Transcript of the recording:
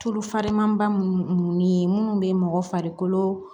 Tulu farinmanba munnu ni minnu bɛ mɔgɔ farikolo